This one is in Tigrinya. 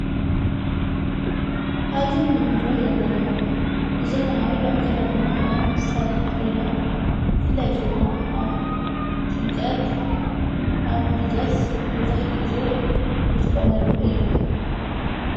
ኣብዚ ንግንዝወ ዘለና ብዘመናዊ ኣከዳድና ኽዳም ዝተደነት ኮይና ፍላይ ድማ ኣብ ጥምቀት ኣብ ልደት መብዛሕቲ ጊዜ ንጥቖመሉ እዩ::